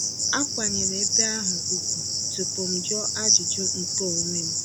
Akwanyeere ebe ahụ ugwu tupu m jụọ ajụjụ nke onwe m.